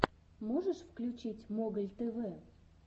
можешь включить моголь тв